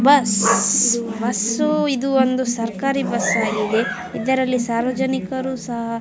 Bus bus ಇದು ಒಂದು ಸರ್ಕಾರೀ ಬಸ್ಸ ಆಗಿದೆ. ಅದ್ರಲ್ಲಿ ಸಾರ್ವಜನಿಕರು ಸಹ --